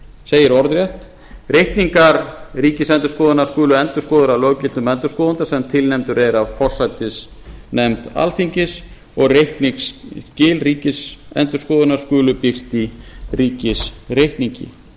segir orðrétt reikningar ríkisendurskoðunar skulu endurskoðaðir af löggiltum endurskoðanda sem tilnefndur er af forsætisnefnd alþingis og reikningsskil ríkisendurskoðunar skulu birt í ríkisreikningi